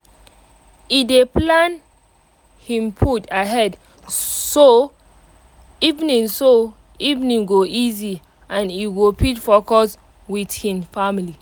e dey plan hin food ahead so evening so evening go easy and e go fit focus with hin family